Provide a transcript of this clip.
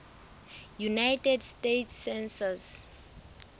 united states census